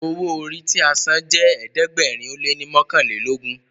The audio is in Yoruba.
owo orí tí a sàn jé ẹ̀ẹ́dẹ̀gbẹ̀rin o lẹ ní mọkanlelogun.